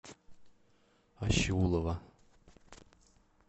ащеулова